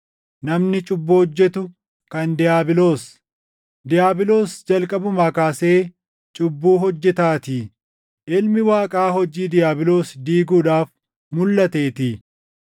Namni cubbuu hojjetu kan diiyaabiloos; diiyaabiloos jalqabumaa kaasee cubbuu hojjetaatii. Ilmi Waaqaa hojii diiyaabiloos diiguudhaaf mulʼateetii.